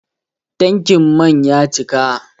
Tankin man ya cika